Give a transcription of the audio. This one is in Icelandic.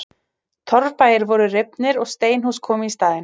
Torfbæir voru rifnir og steinhús komu í staðinn.